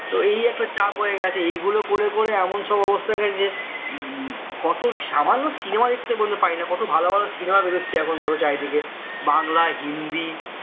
তো এই একটা চাপ হয়ে গেছে এইগুলো করে করে এমন সব অবস্থা হয়ে গেছে যে কত সামান্য cinema দেখতে পর্যন্ত পায়না কত ভালো ভালো cinema বেরোচ্ছে এখন ধরে চারিদিকে বাংলা হিন্দি